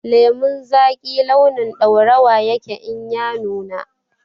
Lemon zaki launin ɗaurawa yake in ya nuna